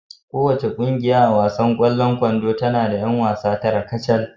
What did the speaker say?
Kowace ƙungiya a wasan kwallon kwando tana da 'yan wasa tara kacal